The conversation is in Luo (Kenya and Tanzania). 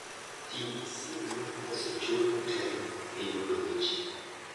Ti gi sim ma osechul motelo e yudo weche.